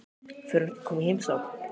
Fer hún ekki að koma í heimsókn?